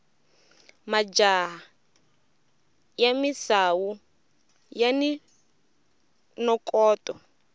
majaha ya misawu yani nokoto